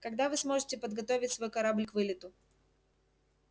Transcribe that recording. когда вы сможете подготовить свой корабль к вылету